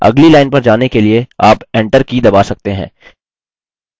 अगली लाइन पर जाने के लिए आप enter की दबा सकते हैं